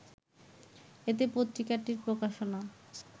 এতে পত্রিকাটির প্রকাশনা